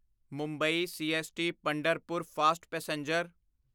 Mumbai CST Pandharpur fast passenger